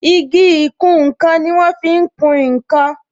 Igi ìkùn nkan ni wọn fi ń kún nkan